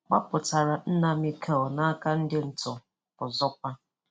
gbàpụ̀tàlá nna Mikel Obi n’aka ndị ntọ̀ ndị ntọ̀ òzòkwà.